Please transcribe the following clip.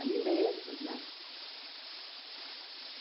alimentos, né?